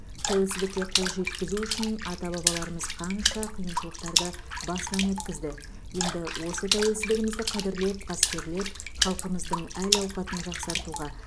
тәуелсіздікке қол жеткізу үшін ата бабаларымыз қанша қиыншылықтарды басынан өткізді енді осы тәуелсіздігімізді қадірлеп қастерлеп халқымыздың әл ауқатын жақсартуға